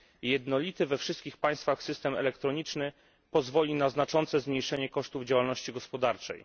Jednolity we wszystkich państwach system elektroniczny pozwoli na znaczne zmniejszenie kosztów działalności gospodarczej.